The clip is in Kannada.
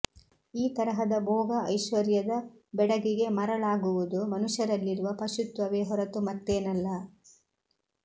ಈ ತರಹದ ಬೋಗ ಐಶ್ವರ್ಯದ ಬೆಡಗಿಗೆ ಮರಳಾಗುವುದು ಮನುಷ್ಯರಲ್ಲಿರುವ ಪಶುತ್ವವೆ ಹೊರತು ಮತ್ತೇನಲ್ಲ